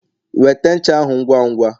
wete ncha ahu ngwa ngwa!